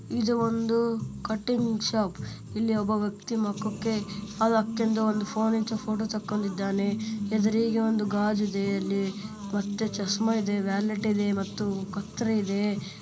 ಇದು ಒಂದು cutting shop ಇಲ್ಲಿ ಒಬ್ಬ ವ್ಯಕ್ತಿ ಮುಖಕ್ಕೆ ಅದು ಹಾಕೊಂಡು ಫೋನ್ ಇಡ್ಕೊಂಡು ಫೋಟೋ ತಕೊಂಡಿದ್ದಾನೆ ಎದುರಿಗೆ ಒಂದು ಗಾಜು ಇದೆ ಅಲ್ಲಿ ಮತ್ತು ಚಸ್ಮ ಇದೆ ವ್ಯಾಲೆಟ್ ಇದೆ ಮತ್ತು ಕತ್ತರಿ ಇದೆ.